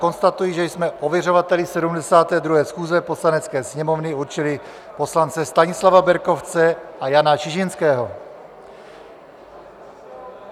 Konstatuji, že jsme ověřovateli 72. schůze Poslanecké sněmovny určili poslance Stanislava Berkovce a Jana Čižinského.